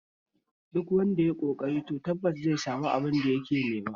Duk wanda yayi ƙoƙari to tabbas zai sami abin da yake nema